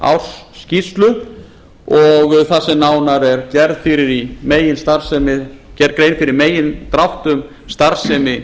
umræddrar ársskýrslu og þar sem nánar er gerð grein fyrir í megindráttum starfsemi